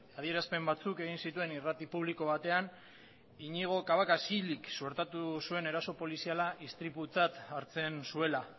adierazpen batzuk egin zituen irrati publiko batean iñigo cabacas hilik suertatu zuen eraso poliziala istriputzat hartzen zuela